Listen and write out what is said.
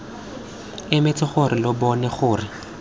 emetse gore lo bone gore